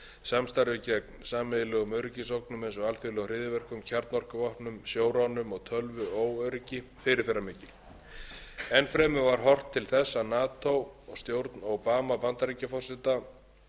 samstarfi gegn sameiginlegum öryggisógnum eins og alþjóðlegum hryðjuverkum kjarnorkuvopn sjóránum og tölvuóöryggi fyrirferðarmikil enn fremur var horft til þess að nato og stjórn obama bandaríkjaforseta hafa unnið að því að nálgast